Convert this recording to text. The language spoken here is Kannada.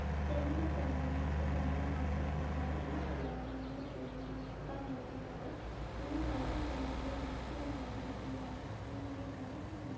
ಜನರು ಕೆಲವಂದ್ ಇಷ್ಟು ಜನರು ಹಾಕುತ್ತಿದ್ದಾರೆ. ಇನ್ನು ಕೆಲವರು ನೋಡಿಕೊಳ್ಳುತ್ತ ನಿಂತಿದ್ದಾರೆ. ಇನ್ನು ಹಳದಿ ಕಲರ್ ವು ಚೀಲಗಳನ್ನು ಇಟ್ಟಿದ್ದರೆ ನೋಡಲು ಬಹಳ ಸುಂದರ ವಾಗಿದೆ.